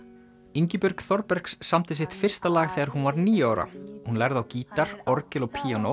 Ingibjörg Þorbergs samdi sitt fyrsta lag þegar hún var níu ára hún lærði á gítar orgel og píanó